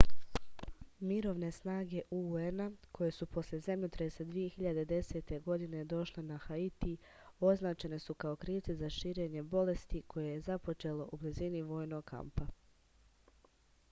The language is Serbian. mirovne snage un-a koje su posle zemljotresa 2010. godine došle na haiti označene su kao krivci za širenje bolesti koje je započelo u blizini vojnog kampa